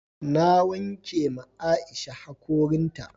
Na wanke ma Aisha hakorin ta